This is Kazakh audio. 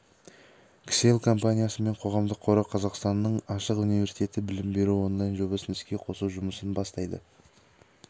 кселл компаниясы мен қоғамдық қоры қазақстанның ашық университеті білім беру онлайн жобасын іске қосу жұмысын бастайды